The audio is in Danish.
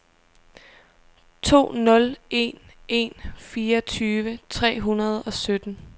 to nul en en fireogtyve tre hundrede og sytten